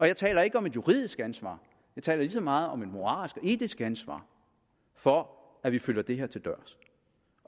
jeg taler ikke om et juridisk ansvar jeg taler ligeså meget om et moralsk og etisk ansvar for at vi følger det her til dørs